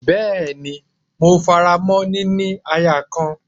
Bẹ́ẹ́ni, mo faramọ́ “ níní aya kan”.